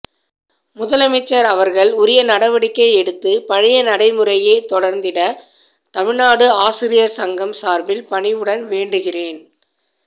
முதலமைச்சர் அவர்கள் உரிய நடவடிக்கை எடுத்து பழைய நடைமுறையே தொடர்ந்திட தமிழ்நாடு ஆசிரியர் சங்கம் சார்பில் பணிவுடன் வேண்டுகின்றேன்